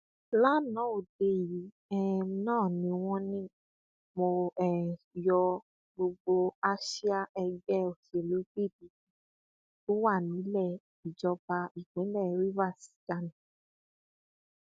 lanaa òde yìí um náà wọn ní mo um yọ gbogbo àsíá ẹgbẹ òsèlú pdp tó wà nílẹ ìjọba ìpínlẹ rivers dànù